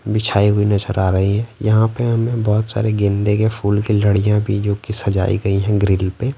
बिछाई हुई नजर आ रही है यहां पे हमें बहुत सारे गेंदे के फूल की लड़ियां भी जोकि सजाई गई हैं ग्रिल पे।